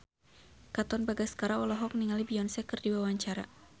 Katon Bagaskara olohok ningali Beyonce keur diwawancara